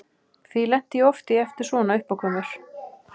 Því lenti ég oft í eftir svona uppákomur.